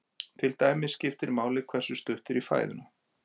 Til dæmis skiptir máli hversu stutt er í fæðuna.